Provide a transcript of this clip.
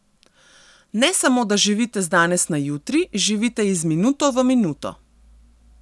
Ne samo, da živite z danes na jutri, živite iz minuto v minuto.